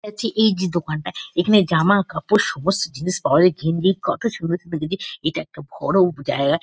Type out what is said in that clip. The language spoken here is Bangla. যাচ্ছে এই যে দোকানটা। এখানে জামা কাপড় সমস্ত জিনিস পাওয়া যায়। গেঞ্জি কতো ছোট ছোট গেঞ্জি। এটা একটা বড় জায়গা ।